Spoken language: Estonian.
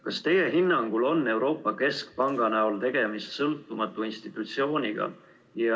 Kas teie hinnangul on Euroopa Keskpanga näol tegemist sõltumatu institutsiooniga?